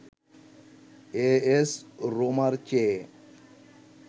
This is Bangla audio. এএস রোমার চেয়ে